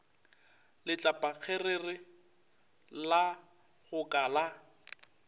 letlapakgerere la go ka la